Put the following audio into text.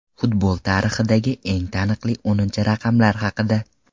Futbol tarixidagi eng taniqli o‘ninchi raqamlar haqida.